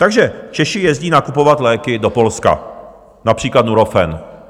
Takže Češi jezdí nakupovat léky do Polska, například Nurofen.